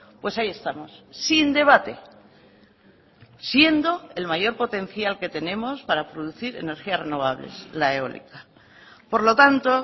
pues ahí estamos sin debate siendo el mayor potencial que tenemos para producir energías renovables la eólica por lo tanto